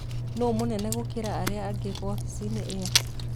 Nũũ mũnene gũkĩra arĩa angĩ wabici-inĩ ĩyo